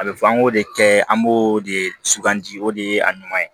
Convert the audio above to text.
A bɛ fɔ an k'o de kɛ an b'o de sugandi o de ye a ɲuman ye